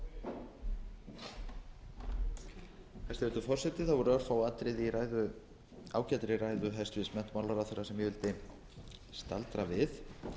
hæstvirtur forseti það voru örfá atriði í ræðu ágætri ræðu hæstvirts menntamálaráðherra sem ég vildi staldra við